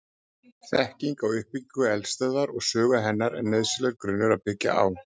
Þekking á uppbyggingu eldstöðvar og sögu hennar er nauðsynlegur grunnur að byggja á.